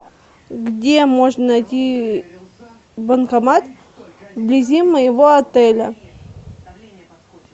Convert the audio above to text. где можно найти банкомат вблизи моего отеля